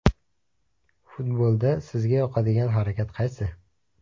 Futbolda sizga yoqadigan harakat qaysi?